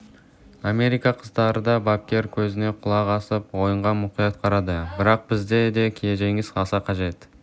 америка қыздары да бапкер сөзіне құлақ асып ойынға мұқият қарады бірақ бізге де жеңіс аса қажет